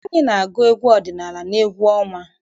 Anyị na-agụ egwu ọdịnala n'egwu ọnwa.